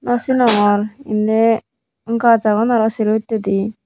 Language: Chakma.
nw siningor indi gaj agon aro sero hittedi.